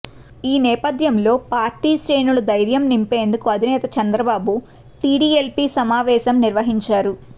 ఈ నేపథ్యంలో పార్టీ శ్రేణులు ధైర్యం నింపేందుకు అధినేత చంద్రబాబు టిడిఎల్పి సమావేశం నిర్వహించారు